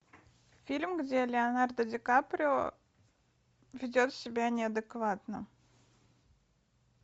фильм где леонардо ди каприо ведет себя неадекватно